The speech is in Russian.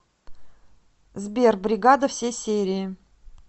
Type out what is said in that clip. сбер бригада все серии